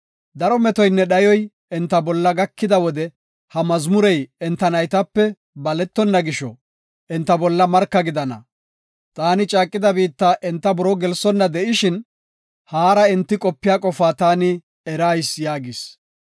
Daro metoynne dhayoy enta bolla gakida wode ha mazmurey enta naytape baletonna gisho, enta bolla marka gidana. Taani caaqida biitta enta buroo gelsonna de7ishin, haara enti qopiya qofaa taani erayis” yaagis.